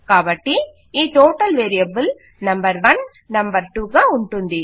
కాబట్టి ఈ total variable number 1 number 2 గా ఉంటుంది